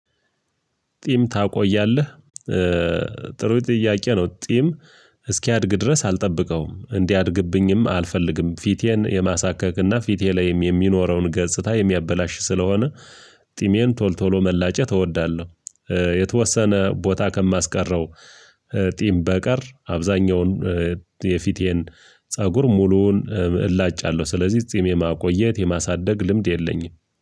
ጢም ታቆያለህ? ጥሩ ጥያቄ ነው። ጢም እስኪያድግ ድረስ አልጠብቀውም እንዲህ አድግብኝም አልፈልግም ፊቴን የማሳካክና ፊቴ ላይም የሚኖረውን ገጽታ የሚያበላሽ ስለሆነ ጢሜን ቶል ቶሎ መላጨት እወዳለሁ። የተወሰነ ቦታ ከማስቀረው ጢም በቀር አብዛኛውን የፊቴን ፀጉር ሙሉውን እላጫለሁ። ስለዚህ ጺም የማቆየት የማሳደግ ልምድ የለኝም።